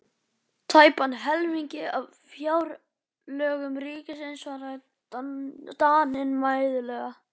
Tæpan helming af fjárlögum ríkisins, svaraði Daninn mæðulega.